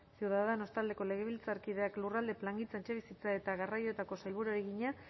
ciudadanos taldeko legebiltzarkideak lurralde plangintza etxebizitza eta garraioetako sailburuari egina